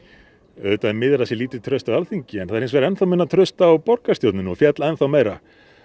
auðvitað er miður að það sé lítið traust á Alþingi það er hins vegar enn þá minna traust á borgarstjórninni og féll enn þá meira